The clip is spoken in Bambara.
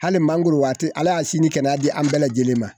Hali mangoro waati ala y'a sini kɛnɛ an bɛɛ lajɛlen ma